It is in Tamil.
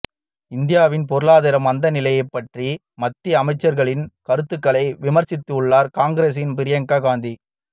இந்தியாவின் பொருளாதார மந்தநிலை பற்றிய மத்திய அமைச்சர்களின் கருத்துகளை விமர்சித்துள்ளார் காங்கிரஸின் பிரியங்கா காந்தி